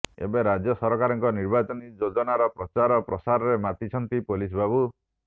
ଏବେ ରାଜ୍ୟ ସରକାରଙ୍କ ନିର୍ବାଚନୀ ଯୋଜାନର ପ୍ରଚାର ପ୍ରସାରରେ ମାତିଛନ୍ତି ପୋଲିସ ବାବୁ